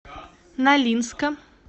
нолинска